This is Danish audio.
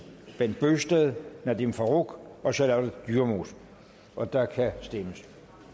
bent bøgsted nadeem farooq og charlotte dyremose og der kan stemmes